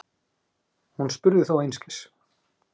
Hún spurði þó einskis.